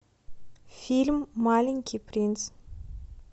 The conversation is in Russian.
фильм маленький принц